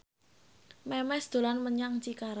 Memes dolan menyang Cikarang